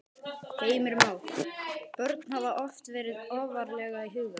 Heimir Már: Börn hafa oft verið ofarlega í huga?